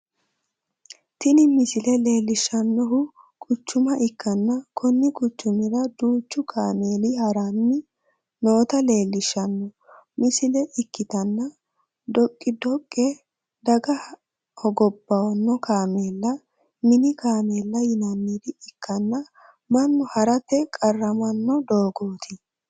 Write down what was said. tini misile leellishshannohu quchuma ikkanna, konni quchumira duuchu kaameeli ha'ranni noota leellishshanno misile ikkitanna, dhoqqi-dhoqqe, daga hogowanno kaameela, mini kaameela yinannire ikkanna, mannu ha'rate qarramanno doogooti.